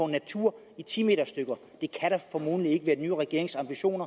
natur i ti meter stykker det kan formodentlig ikke være den nye regerings ambition